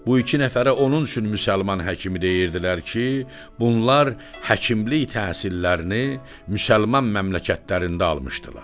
Bu iki nəfərə onun üçün müsəlman həkimi deyirdilər ki, bunlar həkimlik təhsillərini müsəlman məmləkətlərində almışdılar.